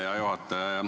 Hea juhataja!